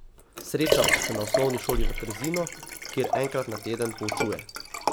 Srečava se na osnovni šoli v Trzinu, kjer enkrat na teden poučuje.